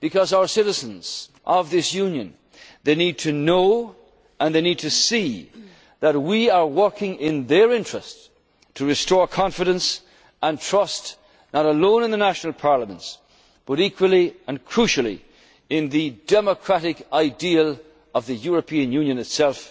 our people. Our citizens of this Union need to know and they need to see that we are working in their interest to restore confidence and trust, not alone in the national parliaments, but equally and crucially in the democratic ideal of the European